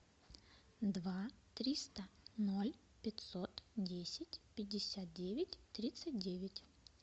два триста ноль пятьсот десять пятьдесят девять тридцать девять